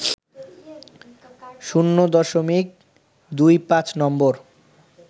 ০.২৫ নম্বর